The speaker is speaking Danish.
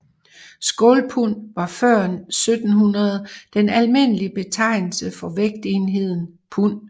Skålpund var før 1700 den almindelige betegnelse for vægtenheden pund